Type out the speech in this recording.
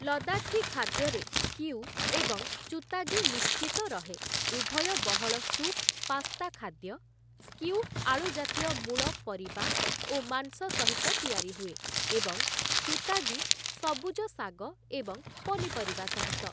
ଲଦାଖୀ ଖାଦ୍ୟରେ ସ୍କିୟୁ ଏବଂ ଚୁତାଗୀ ନିଶ୍ଚିତ ରହେ, ଉଭୟ ବହଳ ସୁପ୍‌ ପାସ୍ତା ଖାଦ୍ୟ, ସ୍କିୟୁ ଆଳୁ ଜାତୀୟ ମୂଳ ପରିବା ଓ ମାଂସ ସହିତ ତିଆରି ହୁଏ, ଏବଂ ଚୁତାଗି ସବୁଜ ଶାଗ ଏବଂ ପନିପରିବା ସହିତ ।